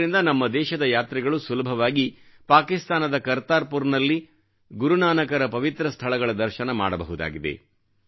ಇದರಿಂದ ನಮ್ಮ ದೇಶದ ಯಾತ್ರಿಗಳು ಸುಲಭವಾಗಿ ಪಾಕಿಸ್ತಾನದ ಕರ್ತಾರ್ಪುರ್ನಲ್ಲಿ ಗುರುನಾನಕರ ಪವಿತ್ರ ಸ್ಥಳಗಳ ದರ್ಶನ ಮಾಡಬಹುದಾಗಿದೆ